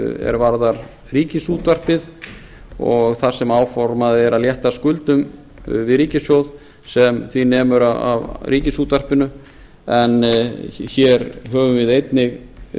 er varðar ríkisútvarpið þar sem áformað er að létta skuldum við ríkissjóð sem nemur ríkisútvarpinu en hér höfum við einnig